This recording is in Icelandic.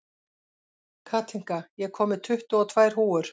Kathinka, ég kom með tuttugu og tvær húfur!